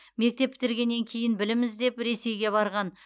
мектеп бітіргеннен кейін білім іздеп ресейге барған